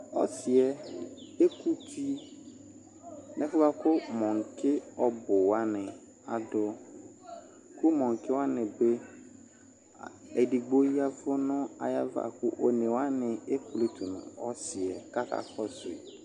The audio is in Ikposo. Ɔsɩ yɛ ekuti nʊ ɛfʊ yɛ bwa kʊ mõki ɔbʊwani adʊ Kʊ mõkiwanɩ bɩ edigbo yavʊ nʊ ayʊ ava kʊ onewani ekpletu nu ɔsɩ yɛ kʊ akakɔsʊi